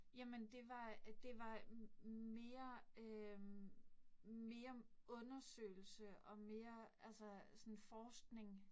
Jamen det var det var mere øh mere undersøgelse og mere altså sådan forskning